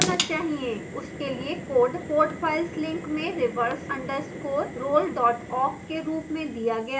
उसके लिए code code files में reverse _ roll awk के रूप में दिया गया है